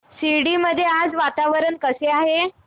शिर्डी मध्ये आज वातावरण कसे आहे